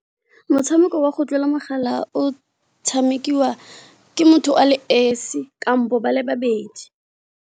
Motshameko wa go tlola mogala o tshamekiwa ke motho a le esi kampo ba le babedi.